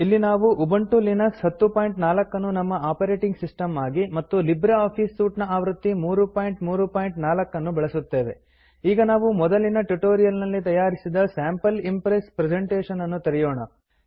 ಇಲ್ಲಿ ನಾವು Ubuntu Linux 1004 ಅನ್ನು ನಮ್ಮ ಆಪರೇಟಿಂಗ್ ಸಿಸ್ಟಮ್ ಆಗಿ ಮತ್ತು ಲಿಬ್ರೆ ಆಫೀಸ್ ಸೂಟ್ ನ ಆವೃತ್ತಿ 334 ಬಳಸುತ್ತೇವೆ ಈಗ ನಾವು ಮೊದಲಿನ ಟ್ಯುಟೋರಿಯಲ್ ನಲ್ಲಿ ತಯಾರಿಸಿದ ಸ್ಯಾಂಪಲ್ ಇಂಪ್ರೆಸ್ ಪ್ರೆಸೆಂಟೇಶನ್ ಅನ್ನು ತೆರೆಯೋಣ